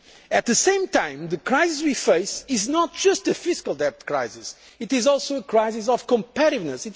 economy. At the same time, the crisis we face is not just a fiscal debt crisis, it is also a crisis of competitiveness.